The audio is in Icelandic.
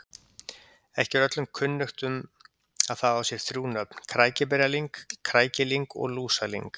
Ekki er öllum kunnugt að það á sér þrjú nöfn, krækiberjalyng, krækilyng og lúsalyng.